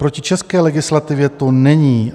Proti české legislativě to není.